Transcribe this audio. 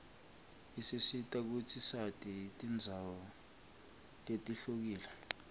isisita kutsi sati tindzawo letihlukile